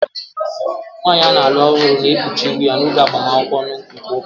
Nwanyị a na-alụ ọhụrụ na-ekpuchi ihu ya n'oge agbamakwụkwọ nke ụka